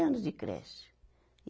anos de creche. e